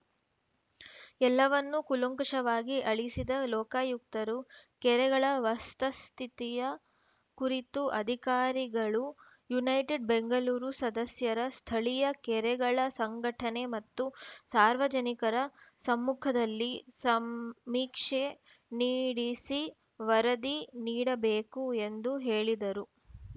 ಎಲ್ಲವನ್ನು ಕೂಲಂಕುಷವಾಗಿ ಆಲಿಸಿದ ಲೋಕಾಯುಕ್ತರು ಕೆರೆಗಳ ವಸ್ತ ಸ್ಥಿತಿಯ ಕುರಿತು ಅಧಿಕಾರಿಗಳು ಯುನೈಟೆಡ್‌ ಬೆಂಗಳೂರು ಸದಸ್ಯರ ಸ್ಥಳೀಯ ಕೆರೆಗಳ ಸಂಘಟನೆ ಮತ್ತು ಸಾರ್ವಜನಿಕರ ಸಮ್ಮುಖದಲ್ಲಿ ಸಮೀಕ್ಷೆ ನೀಡೆಸಿ ವರದಿ ನೀಡಬೇಕು ಎಂದು ಹೇಳಿದರು